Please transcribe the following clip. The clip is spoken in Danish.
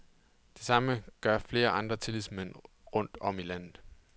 Det samme gør flere andre tillidsmænd rundt om i landet.